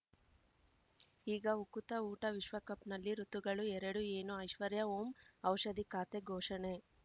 ಈಗ ಉಕುತ ಊಟ ವಿಶ್ವಕಪ್‌ನಲ್ಲಿ ಋತುಗಳು ಎರಡು ಏನು ಐಶ್ವರ್ಯಾ ಓಂ ಔಷಧಿ ಖಾತೆ ಘೋಷಣೆ